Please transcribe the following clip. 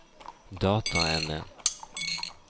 dataene